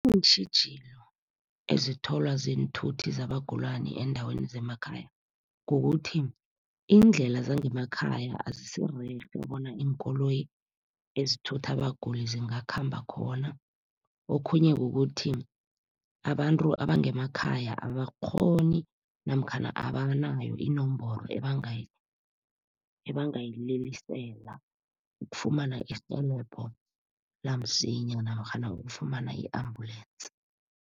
Iintjhijilo ezitholwa ziinthuthi zabagulani eendaweni zemakhaya kukuthi, iindlela zangemakhayeni azisirerhe bona iinkoloyi ezithutha abaguli zingakhamba khona. Okhunye kukuthi, abantu abangemakhaya abakghoni namkhana abanayo inomboro ebangayililisela ukufumana irhelebho lamsinya namkghana ukufumana i-ambulensi.